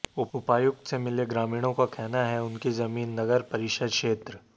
उपायुक्त से मिले ग्रामीणों का कहना है उनकी जमीन नगरपरिषद क्षेत्र